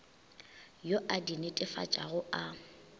yo a di netefatšago a